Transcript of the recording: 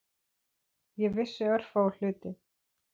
Ég vissi örfáa hluti.